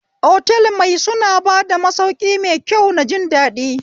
Otal mai suna bada masauki maikyau na jindaɗi